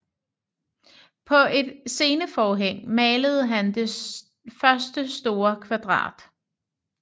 På et sceneforhæng malede han det første sorte kvadrat